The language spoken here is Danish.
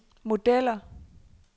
modeller